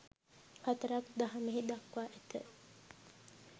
හතරක් දහමෙහි දක්වා ඇත.